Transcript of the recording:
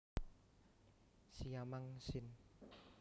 siamang sin